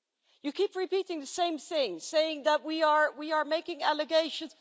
You keep repeating the same thing, saying that we are making allegations.